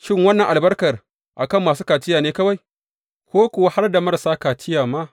Shin, wannan albarkar a kan masu kaciya ne kawai, ko kuwa har da marasa kaciya ma?